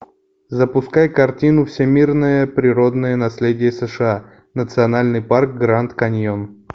запускай картину всемирное природное наследие сша национальный парк гранд каньон